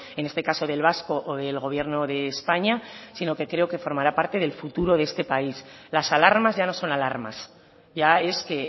en este caso del vasco o del gobierno de españa sino que creo que formará parte del futuro de este país las alarmas ya no son alarmas ya es que